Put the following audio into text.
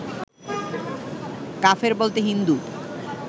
কাফের বলতে হিন্দু